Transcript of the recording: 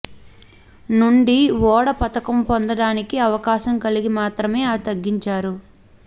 నుండి ఓడ పతకం పొందడానికి అవకాశం కలిగి మాత్రమే ఆ తగ్గించారు